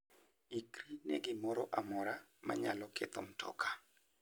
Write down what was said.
Ikri ne gimoro amora manyalo ketho mtoka.